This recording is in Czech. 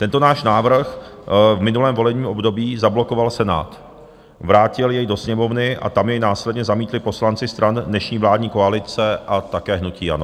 Tento náš návrh v minulém volebním období zablokoval Senát, vrátil jej do Sněmovny a tam jej následně zamítli poslanci stran dnešní vládní koalice a také hnutí ANO.